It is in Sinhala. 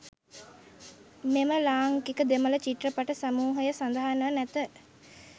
මෙම ලාංකික දෙමළ චිත්‍රපට සමූහය සඳහන්ව නැත.